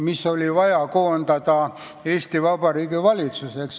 Need oli vaja koondada Eesti Vabariigi valitsuseks.